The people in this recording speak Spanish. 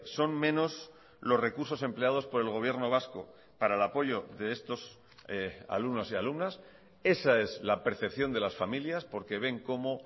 son menos los recursos empleados por el gobierno vasco para el apoyo de estos alumnos y alumnas esa es la percepción de las familias porque ven como